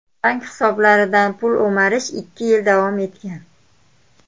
Bank hisoblaridan pul o‘marish ikki yil davom etgan.